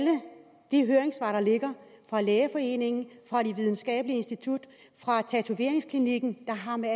de høringssvar der ligger fra lægeforeningen fra videnskabelige institutter fra tatoveringsklinikken der har med